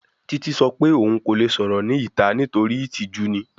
Titi sọ pe oun ko le sọrọ ni ita nitori itiju ni